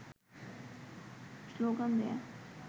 slogan দেওয়া